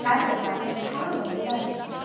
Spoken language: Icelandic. Evrópa er talandi dæmi.